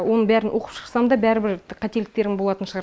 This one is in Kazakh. оның бәрін оқып шықсам да бәрібір қателіктерім болатын шығар